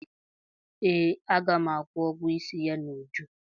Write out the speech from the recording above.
Ee, a ga m akwụ ụgwọ isi ya n'uju